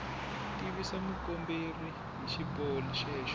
tivisa mukomberi hi xiboho xexo